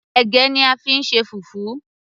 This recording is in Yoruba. ẹ̀gẹ́ ni a fí ń ṣe fufu